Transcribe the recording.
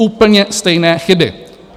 Úplně stejné chyby.